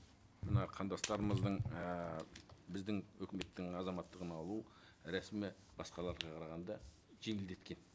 мына қандастармыздың ііі біздің өкіметтің азаматтығын алу рәсімі басқаларға қарағанда жеңілдеткен